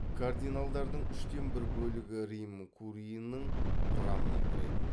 кардиналдардың үштен бір бөлігі рим куриінің құрамына кіреді